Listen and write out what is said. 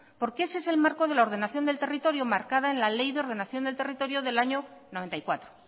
porque ese es el marco de la ordenación del territorio marcada en la ley de ordenación del territorio del año mil novecientos noventa y cuatro